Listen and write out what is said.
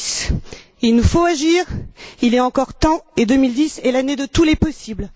en 2010. Il nous faut agir, il est encore temps, et 2010 est l'année de tous les possibles.